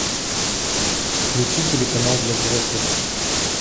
включи телеканал для взрослых